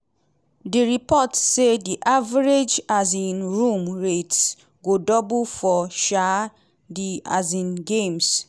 di report say di average um room rates go double for um di um games.